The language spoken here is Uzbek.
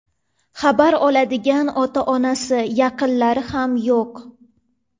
Xabar oladigan ota-onasi, yaqinlari ham yo‘q.